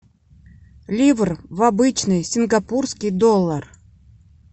ливр в обычный сингапурский доллар